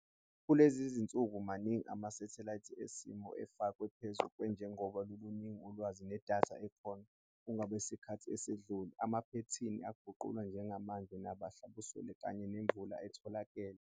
Kulezi zinsuku maningi ama-satelite esimo sezulu afakwe phezu kwethu njengoba luluningi ulwazi nedatha ekhona kunangesikhathi esedlule, amaphethini aqagulwa njengamanje nahlambuselwe kanye nemvula etholakele.